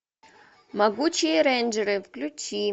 могучие рейнджеры включи